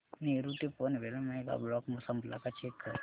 नेरूळ ते Panvel mega block संपला का चेक कर